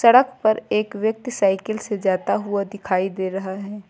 सड़क पर एक व्यक्ति साइकिल से जाता हुआ दिखाई दे रहा है।